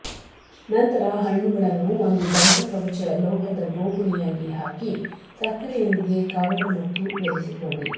ನಂತರ ಹಣ್ಣುಗಳನ್ನು ಒಂದು ದಂತಕವಚ ಲೋಹದ ಬೋಗುಣಿಯಾಗಿ ಹಾಕಿ ಸಕ್ಕರೆಯೊಂದಿಗೆ ಕವರ್ ಮತ್ತು ಬೆರೆಸಿಕೊಳ್ಳಿ